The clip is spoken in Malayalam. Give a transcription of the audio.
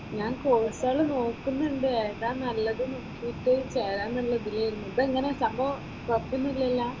ഞാൻ കോഴ്സുകള് നോക്കുന്നുണ്ട്, ഏതാ നല്ലത് എന്ന് നോക്കിയിട്ട് ചേരാമെന്നുള്ള ഇതിൽ ആയിരുന്നു. ഇതെങ്ങനെ സംഭവം കുഴപ്പമൊന്നുമില്ലലോ?